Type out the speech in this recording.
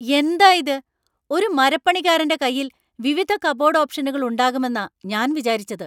എന്താ ഇത് ? ഒരു മരപ്പണിക്കാരന്‍റെ കൈയിൽ വിവിധ കബോർഡ് ഓപ്ഷനുകൾ ഉണ്ടാകുമെന്നാ ഞാൻ വിചാരിച്ചത്.